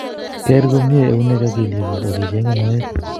Ker komye eunek ak kelyek kuuk akicheng'ei moet